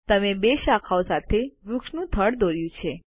તમે બે શાખાઓ સાથે વૃક્ષ નું થડ દોર્યું છે